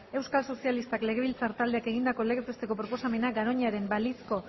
euskal sozialistak legebiltzar taldeak egindako legez besteko proposamena garoñaren balizko